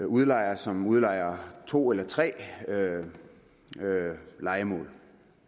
udlejere som udlejer to eller tre lejemål